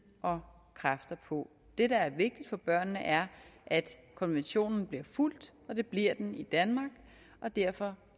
og kræfter på det der er vigtigt for børnene er at konventionen bliver fulgt og det bliver den i danmark derfor